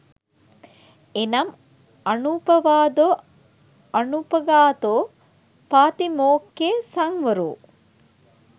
එනම් අනුපවාදො, අනුපඝාතො, පාතිමොක්ඛෙ සංවරො,